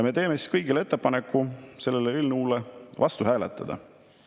Me teeme kõigile ettepaneku selle eelnõu vastu hääletada.